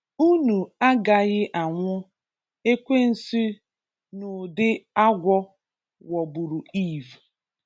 "Unu agaghị anwụ”, ekwensu n'ụdị agwọ ghọgburu Eve.